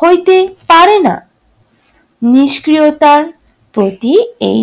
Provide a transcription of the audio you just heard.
হইতে পারেনা। নিষ্ক্রিয়তার প্রতি এই